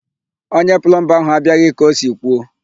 Onye plọmba ahụ abịaghị ka o si kwuo.